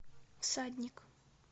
всадник